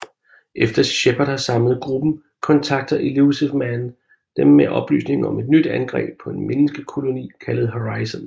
Efter Shepard har samlet gruppen kontakter Illusive Man dem med oplysninger om et nyt angreb på en menneskekoloni kaldet Horizon